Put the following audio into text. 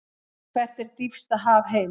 Hvert er dýpsta haf heims?